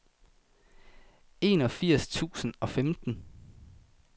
enogfirs tusind og femten